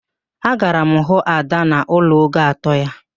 Agara m hụ Ada n'ụlọ ogo atọ ya